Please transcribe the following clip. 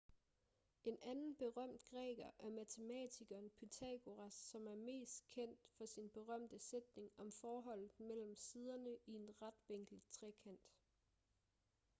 en anden berømt græker er matematikeren pythagoras som er mest kendt for sin berømte sætning om forholdet mellem siderne i en retvinklet trekant